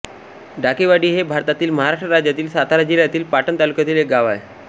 डाकेवाडी हे भारतातील महाराष्ट्र राज्यातील सातारा जिल्ह्यातील पाटण तालुक्यातील एक गाव आहे